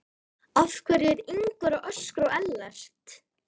Af hverju er Ingvar að öskra á Ellert?